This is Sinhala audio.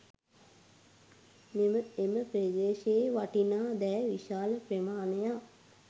එම ප්‍රදේශයේ තිබූ වටිනා දෑ විශාල ප්‍රමාණයක්